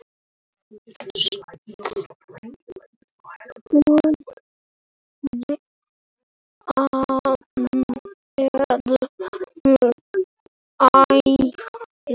Skúrinn er höll.